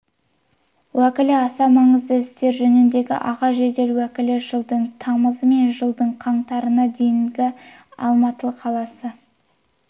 уәкілі аса маңызды істер жөніндегі аға жедел уәкілі жылдың тамызы мен жылдың қаңтарына дейін алматықаласы